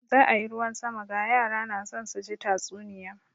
Za a yi ruwan sama, ga yara na son su ji tatsuniya.